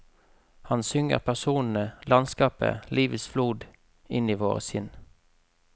Han synger personene, landskapet, livets flod inn i våre si nn.